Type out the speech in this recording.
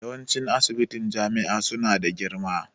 Yawanci ssibitin jami'a su na da girma